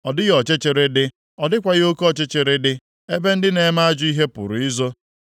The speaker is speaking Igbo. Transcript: Ọ dịghị ọchịchịrị dị, ọ dịghịkwa oke ọchịchịrị dị, ebe ndị na-eme ajọ ihe pụrụ izo.